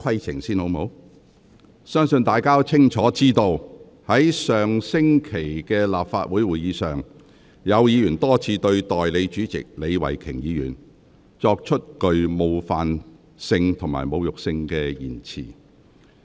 相信大家都清楚知道，在上星期的立法會會議上，有議員多次向代理主席李慧琼議員說出具冒犯性及侮辱性的言詞。